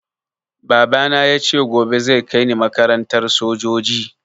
Baba na yace gobe zai kaini makarantar sojoji